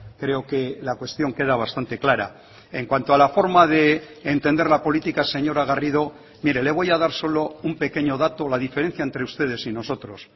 creo que la cuestión queda bastante clara en cuanto a la forma de entender la política señora garrido mire le voy a dar solo un pequeño dato la diferencia entre ustedes y nosotros